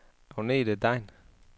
Agnethe Degn